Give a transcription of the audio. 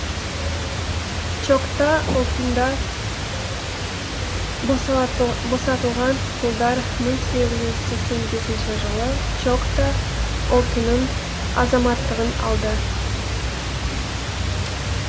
чокта ұлтында босатылған құлдар мың сегіз жүз сексен бесінші жылы чокта ұлтының азаматтығын алды